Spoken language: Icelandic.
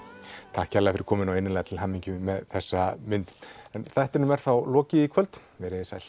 takk innilega fyrir komuna og innilega til hamingju með þessa mynd en þættinum er þá lokið í kvöld veriði sæl